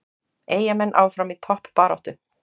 Eyjamenn áfram í toppbaráttu